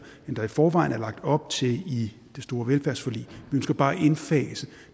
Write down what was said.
end der i forvejen er lagt op til i det store velfærdsforlig vi ønsker bare at indfase